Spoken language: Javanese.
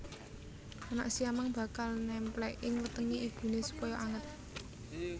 Anak siamang bakal némplék ing wetengé ibuné supaya anget